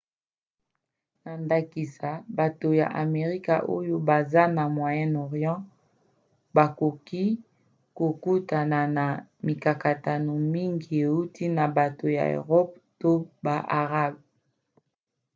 na ndakisa bato ya amerika oyo baza na moyen-orient bakoki kokutana na mikakatano mingi euti na bato ya eropa to ba arabe